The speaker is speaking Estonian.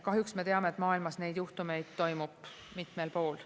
Kahjuks me teame, et maailmas neid juhtumeid toimub mitmel pool.